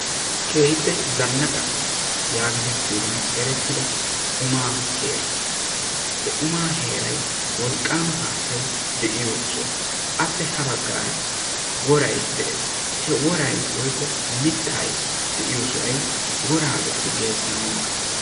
Keehippe zannaqa yaagetettiyogan erettida umaa heera. He umaa heeray wolqqaama haattay de'iyo soha. Appe ha baggaara woray de'ees. He woraykka de'iyo sohoy woraa do'ati de'anawu maaddoosona.